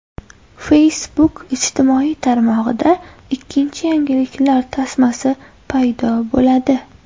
Facebook ijtimoiy tarmog‘ida ikkinchi yangiliklar tasmasi paydo bo‘ladi.